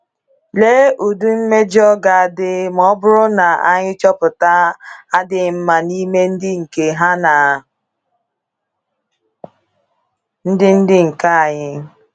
Lee ụdị mmejọ ga-adị ma ọ bụrụ na anyị chọpụta adịghị mma n’ime ndị nke ha na ndị ndị nke anyị!